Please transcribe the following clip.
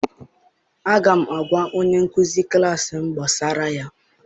Aga m agwa onye nkuzi klassị m gbasara ya.